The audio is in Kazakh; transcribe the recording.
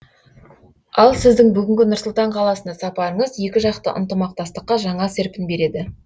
ал сіздің бүгінгі нұр сұлтан қаласына сапарыңыз екіжақты ынтымақтастыққа жаңа серпін береді